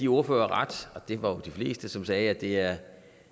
ordførere ret og det var jo de fleste som sagde at det er